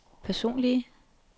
personlige